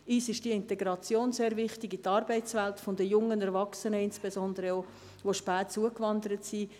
Uns ist die Integration der jungen Erwachsenen in die Arbeitswelt sehr wichtig, insbesondere auch jener, die spät zugewandert sind.